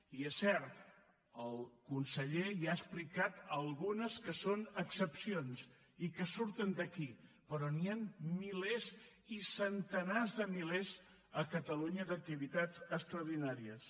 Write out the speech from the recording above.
i és cert el conseller ja ha explicat algunes que són excepcions i que surten d’aquí però n’hi han milers i centenars de milers a catalunya d’activitats extraordinàries